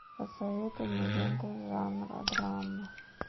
посоветуй мне ленту жанра драма